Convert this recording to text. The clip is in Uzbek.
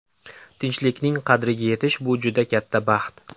Tinchlikning qadriga yetish bu juda katta baxt.